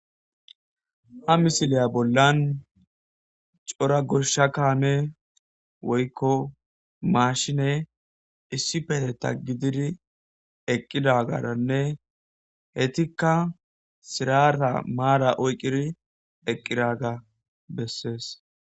ha misiliya bollan cora gosha kaame woykko maashine issi peteta gidiri eqqidagaranne heytikka sirata maara oyqqiri eqqiga bessees